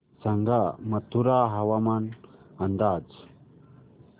सांगा मथुरा हवामान अंदाज